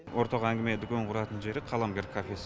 ортақ әңгіме дүкен құратын жері қаламгер кафесі